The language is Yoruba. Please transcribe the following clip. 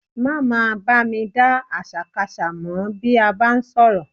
Má máa bá mi dá àṣàkaṣà mọ bí a bá ń sọ̀rọ̀